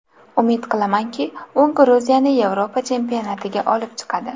Umid qilamanki, u Gruziyani Yevropa chempionatiga olib chiqadi.